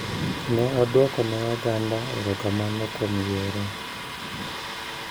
Ne odwoko ne oganda erokamano kuom yiere.